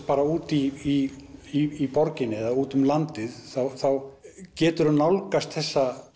bara úti í borginni eða úti um landið þá geturðu nálgast þessa